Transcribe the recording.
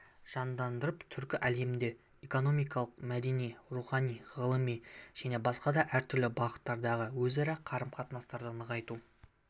жандандырып түркі әлемінде экономикалық мәдени рухани ғылыми және басқа да әртүрлі бағыттардағы өзара қарым-қатынастарды нығайту